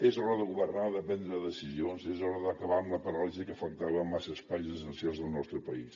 és l’hora de governar de prendre decisions és hora d’acabar amb la paràlisi que afectava massa espais essencials del nostre país